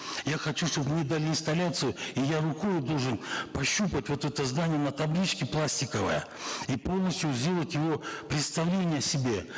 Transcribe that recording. я хочу чтобы мне дали инсталляцию и я рукою должен пощупать вот это здание на табличке пластиковой и полностью сделать его представление себе